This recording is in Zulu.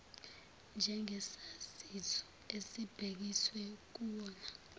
njengesaziso esibhekiswe kuwona